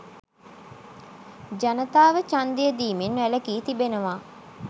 ජනතාව ඡන්දය දීමෙන් වැළකී තිබෙනවා